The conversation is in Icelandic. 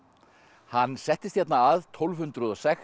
hann settist hérna að tólf hundruð og sex